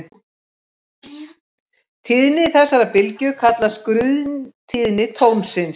Tíðni þessarar bylgju kallast grunntíðni tónsins.